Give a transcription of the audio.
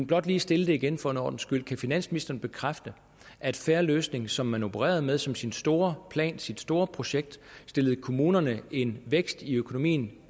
blot lige stille det igen for en ordens skyld kan finansministeren bekræfte at fair løsning som man opererede med som sin store plan sit store projekt stillede kommunerne en vækst i økonomien